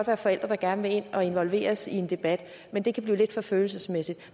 være forældre der gerne vil ind og involveres i en debat men det kan blive lidt for følelsesmæssigt